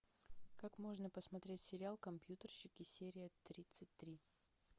как можно посмотреть сериал компьютерщики серия тридцать три